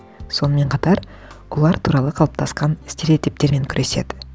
сонымен қатар олар туралы қалыптасқан стереотиптермен күреседі